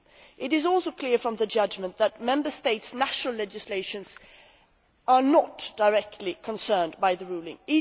It is also clear from the judgment that Member States' national legislations are not directly concerned by the ruling.